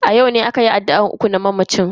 A yau ne akayi addu'an uku na mamacin.